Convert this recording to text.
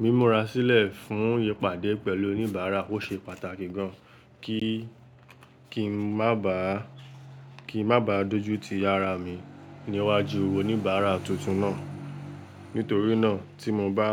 Mí múra sílẹ̀ fún ípadẹ̀ pẹ̀lú oníbàárà ó ṣe pàtàki gan kí, kí n má bàá, kí n má bàá dójú ti yàrá mi níwájú owó oníbàárà tuntun náà. Nítorínà tí mo bá,